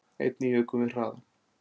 Einnig jukum við hraðann